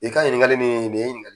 I ka ɲininkali nin, nin ye